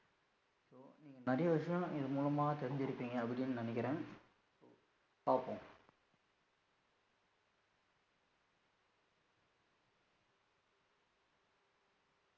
நீங்க நிறைய விஷயம் இது மூலமா தெருஞ்சிருபிங்க அப்படினு நினைக்குறேன் பாப்போம்.